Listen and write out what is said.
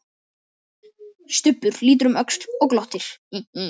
Stubbur lítur um öxl og glottir.